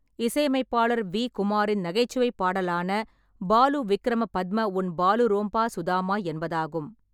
இசையமைப்பாளர் வி. குமாரின் நகைச்சுவை பாடலான “பாலு விக்கிர பத்ம உன் பாலு ரோம்பா சுதாமா” என்பதாகும்.